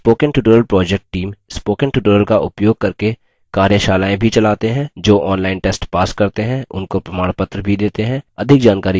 spoken tutorials project team spoken tutorials का उपयोग करके कार्यशालाएँ भी चलाते हैं जो online test pass करते हैं उनको प्रमाणपत्र भी details हैं अधिक जानकारी के लिए कृपया हमसे सम्पर्क करें